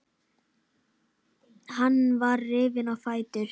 Hann var rifinn á fætur.